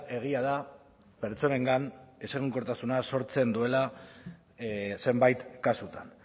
egia da pertsonengan ezegonkortasuna sortzen duela zenbait kasutan